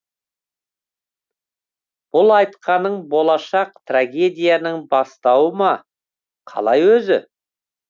бұл айтқаның болашақ трагедияның бастауы ма қалай өзі